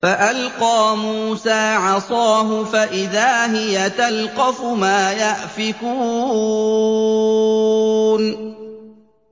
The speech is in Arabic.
فَأَلْقَىٰ مُوسَىٰ عَصَاهُ فَإِذَا هِيَ تَلْقَفُ مَا يَأْفِكُونَ